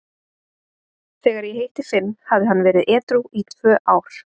Þegar ég hitti Finn hafði hann verið edrú í tvö ár.